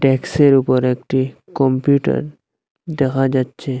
ডেক্স -এর উপর একটি কম্পিউটার দেখা যাচ্ছে।